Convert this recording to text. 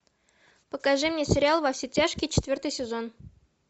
покажи мне сериал во все тяжкие четвертый сезон